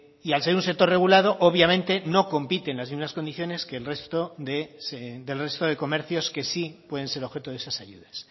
y al ser un sector regulado obviamente no compiten en las mismas condiciones que el resto de comercios que sí pueden ser objeto de esas ayudas